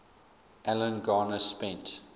alan garner spent